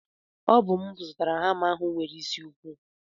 Ọ bụ m zụrụ hama ahụ nwere isi ukwu.